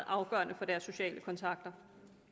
afgørende for deres sociale kontakter